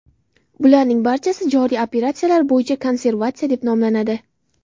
Bularning barchasi joriy operatsiyalar bo‘yicha konvertatsiya deb nomlanadi.